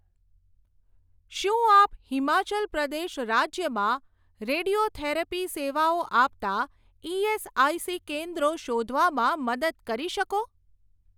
શું આપ હિમાચલ પ્રદેશ રાજ્યમાં રેડિયોથેરાપી સેવાઓ આપતાં ઇએસઆઇસી કેન્દ્રો શોધવામાં મદદ કરી શકો?